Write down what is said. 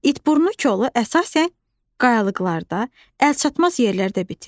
İtburnu kolu əsasən qayalıqlarda, əlçatmaz yerlərdə bitir.